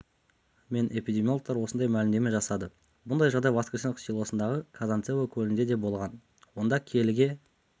мен эпидемиологтар осындай мәлімдеме жасады бұндай жағдай воскресеновка селосындағы казанцево көлінде де болған онда келіге